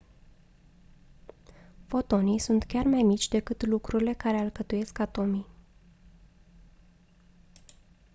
fotonii sunt chiar mai mici decât lucrurile care alcătuiesc atomii